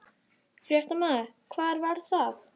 Fréttamaður: Hvar var það?